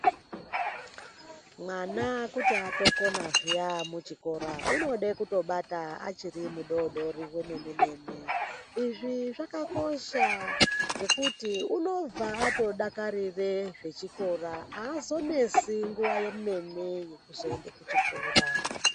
Mwana kuti atokona zviya amuchikora unode kutobata achiri mudoodori wemene-mene. Izvi zvakakosha ngekuti unobva atodakarire zvechikora aazonesi nguwa yemene yekuzoende kuchikora.